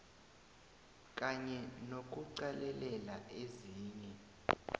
kanye nokuqalelela ezinye